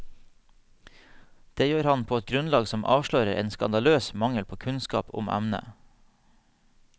Det gjør han på et grunnlag som avslører en skandaløs mangel på kunnskap om emnet.